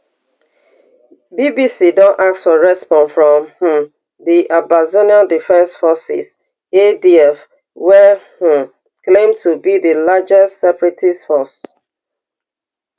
bbc don ask for response from um di ambazonia defense forces adf wey um claim to be di largest separatist force